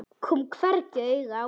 Kom hvergi auga á hana.